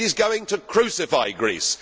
It is going to crucify Greece.